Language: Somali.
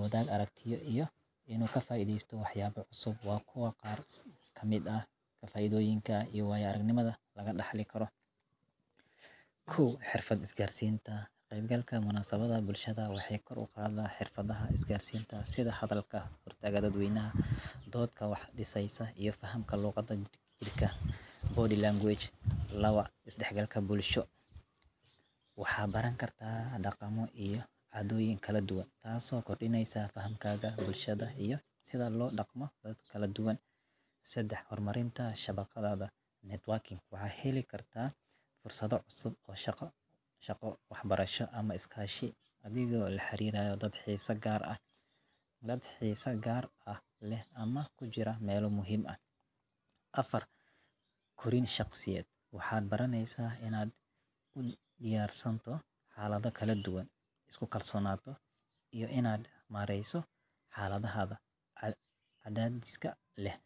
markaana aan ku xoojiyo xirfadaha isgaarsiineed iyo wada shaqeynta. Intii aan halkaas joogay, waxaan la kulmay dad cusub oo leh fikrado iyo aragtiyo kala duwan, taas oo i siisay faham ballaaran oo ku saabsan sida loo dhiso xiriirro adag oo ku saleysan ixtiraam iyo kalsooni. Munaasabadda ayaa sidoo kale dhiirrigelisay in aan ka qayb qaato hawlo kooxeed iyo dood-wadaag, taas oo kor u qaaday kartidayda hoggaamineed iyo awoodda aan ku xallin karo dhibaatooyinka. Waxaa kale oo aan helay fursad aan ku horumariyo xirfado cusub oo aan mustaqbalka adeegsan karo, sida qorsheynta iyo abaabulka dhacdooyinka.